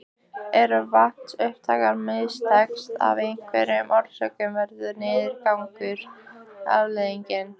Ef vatnsupptakan mistekst af einhverjum orsökum verður niðurgangur afleiðingin.